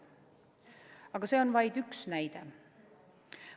Aga see on vaid üks näide.